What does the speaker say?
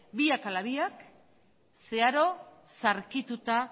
biak ala biak zeharo zaharkituta